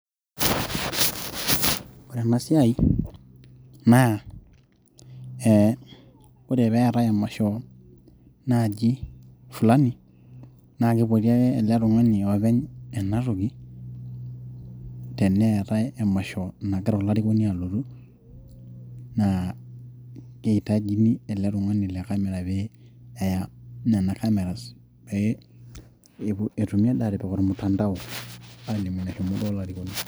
ore ena siai naa ee ore peetay emasho naaji fulani naa kipoti ake ele tung'ani openy ena toki tenetay emasho nagira olarikoni alotu naa keitajini ele tung'ani le camera pee eya nana cameras peetumi adake atipik ormtandao aalimu eneshomo duo olarikoni.